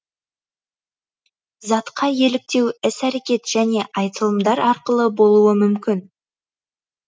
затқа еліктеу іс әрекет және айтылымдар арқылы болуы мүмкін